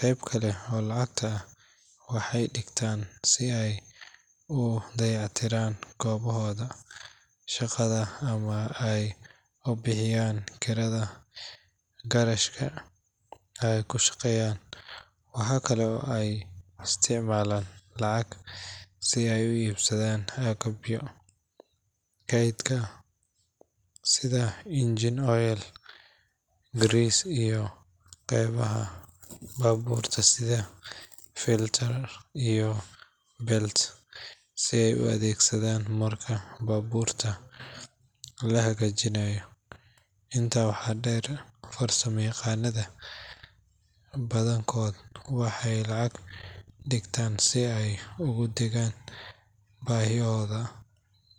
Qayb kale oo lacagta ah waxay dhigtaan si ay u dayactiraan goobtooda shaqada ama ay u bixiyaan kirada garashka ay ku shaqeeyaan. Waxa kale oo ay isticmaalaan lacag si ay u iibsadaan agabka kaydka sida engine oil, grease, iyo qaybaha baabuurta sida filters iyo belts si ay u adeegsadaan marka baabuurta la hagaajinayo. Intaa waxaa dheer, farsamayaqaannada badankood waxay lacag dhigtaan si ay ugu degaan baahiyaha.